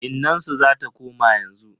Innansu zata koma yanzu.